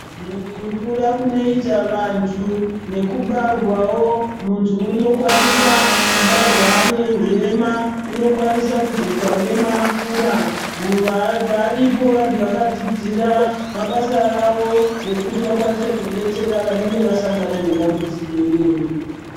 Mukukura kunoita antu nekubarwawo muntu anokwanisa ane hurema kana kuita hurema vakura variko vantu vakadzidzira mabasa awo vekuti vakwanise kudetsera vanenge vasangana nedambudziko iroro.